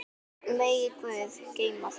Megi Guð geyma þig.